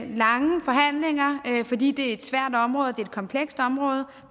lange forhandlinger fordi det er et svært område og et kompleks område